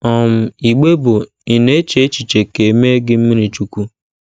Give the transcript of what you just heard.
um Igbe bụ́ Ị̀ Na - eche Echiche Ka E Mee Gị mmirichukwu?